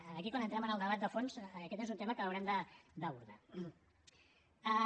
per tant aquí quan entrem en el debat de fons aquest és un tema que haurem d’abordar